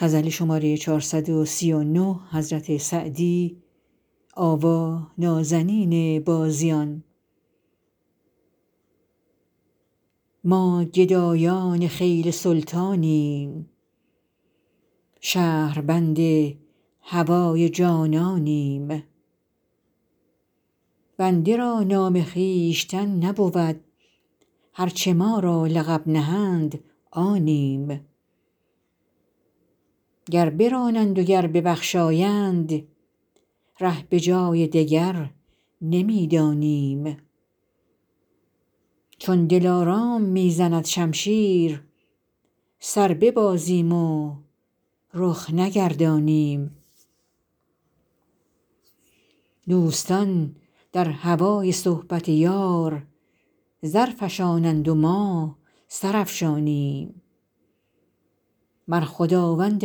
ما گدایان خیل سلطانیم شهربند هوای جانانیم بنده را نام خویشتن نبود هر چه ما را لقب دهند آنیم گر برانند و گر ببخشایند ره به جای دگر نمی دانیم چون دلارام می زند شمشیر سر ببازیم و رخ نگردانیم دوستان در هوای صحبت یار زر فشانند و ما سر افشانیم مر خداوند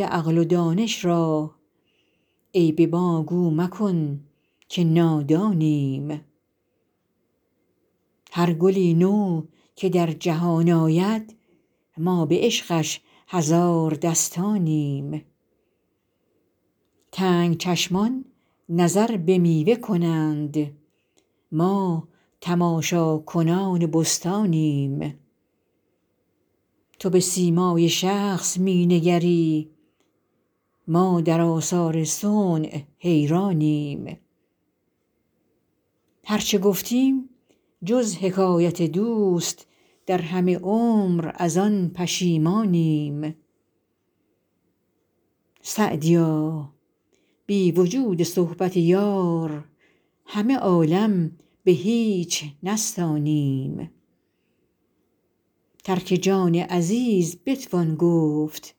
عقل و دانش را عیب ما گو مکن که نادانیم هر گلی نو که در جهان آید ما به عشقش هزار دستانیم تنگ چشمان نظر به میوه کنند ما تماشاکنان بستانیم تو به سیمای شخص می نگری ما در آثار صنع حیرانیم هر چه گفتیم جز حکایت دوست در همه عمر از آن پشیمانیم سعدیا بی وجود صحبت یار همه عالم به هیچ نستانیم ترک جان عزیز بتوان گفت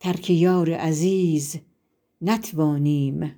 ترک یار عزیز نتوانیم